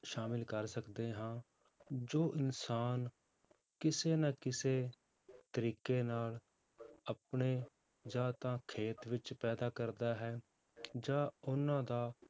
ਸ਼ਾਮਿਲ ਕਰ ਸਕਦੇੇ ਹਾਂ ਜੋ ਇਨਸਾਨ ਕਿਸੇ ਨਾ ਕਿਸੇ ਤਰੀਕੇ ਨਾਲ ਆਪਣੇ ਜਾਂ ਤਾਂ ਖੇਤ ਵਿੱਚ ਪੈਦਾ ਕਰਦਾ ਹੈ ਜਾਂ ਉਹਨਾਂ ਦਾ